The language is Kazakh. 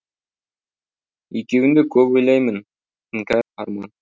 екеуіңді көп ойлаймын іңкәр арман